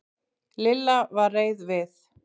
Lilla var reið við